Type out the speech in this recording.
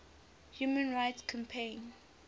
human rights campaign